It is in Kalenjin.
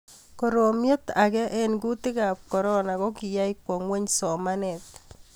Koromiet age' eng kutikab korona ko kiyai kwa ngweny somanet